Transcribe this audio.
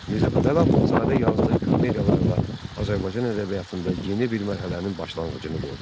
Mirzə Fətəli Axundzadə yazdığı komediyalarla Azərbaycan ədəbiyyatında yeni bir mərhələnin başlanğıcını qoydu.